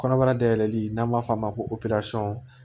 Kɔnɔbara dayɛlɛli n'an b'a f'o ma ko